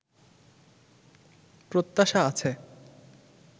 প্রত্যাশা আছে